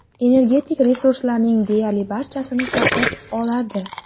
Energetik resurslarning deyarli barchasini sotib oladi.